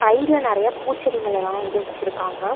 Side ல நெறைய பூச்செடிங்கலெல்லா வந்து வெச்சுருக்காங்க.